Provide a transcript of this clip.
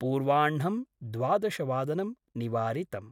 पूर्वाह्णं द्वादशवादनं निवारितम्।